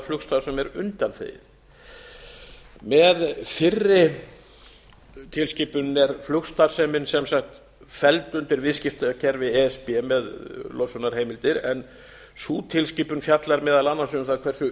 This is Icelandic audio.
flugstarfsemi er undanþegin með fyrri tilskipun er flugstarfsemin sem sagt felld undir viðskiptakerfi e s b með losunarheimildir en sú tilskipun fjallar meðal annars um það hversu